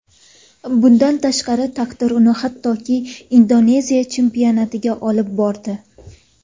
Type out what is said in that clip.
Bundan tashqari taqdir uni hattoki Indoneziya chempionatiga olib bordi.